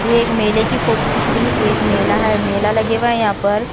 यह एक मेले की फोटो दिख रही यह एक मेला है मेला लगे हुआ है यहाँ पर।